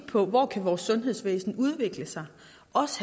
på hvor vores sundhedsvæsen kan udvikle sig